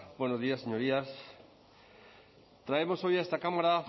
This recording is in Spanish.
buenos días señorías traemos hoy a esta cámara